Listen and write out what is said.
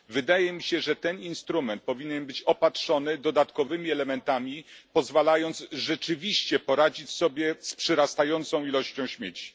Wydaje mi się, że ten instrument powinien być opatrzony dodatkowymi elementami, dzięki którym rzeczywiście będziemy mogli poradzić sobie z przyrastającą ilością śmieci.